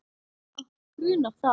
Okkur grunar það.